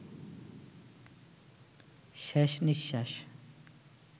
শেষ নিঃশ্বাস